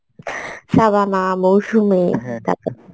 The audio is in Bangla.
সাবামা, মৌসুমী তারপর